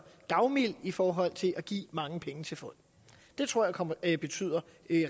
gavmild i forhold til at give mange penge til folk det tror jeg betyder